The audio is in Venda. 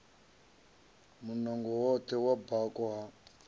munango woṱhe wa bako ha